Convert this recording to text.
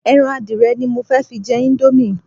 Ẹran adìẹ ni mo fẹ́ fi jẹ íńdómì.